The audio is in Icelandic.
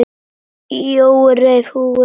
Jói reif húfuna af sér.